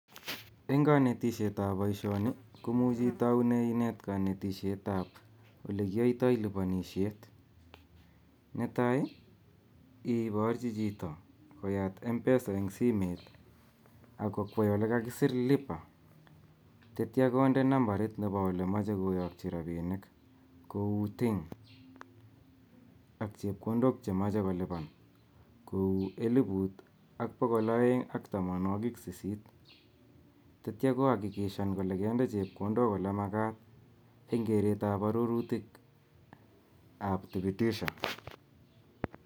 Eng kanetisietab boisioni komuch itaune inet kanetisietab ole kiyaitoi lipanishet. Netai iporchi chito koyat mpesa eng simet ak kokwei olekakiseer lipa tetyo konde nambarit nemechei koyakchi rapinik kou till ak chepkondok chemachei kolipan kou elput ak bokol aeng ak tamanwak sisit tetyo koakikishan kole kainde chepkondok ole makat eng keretab arorutikab thibitisha.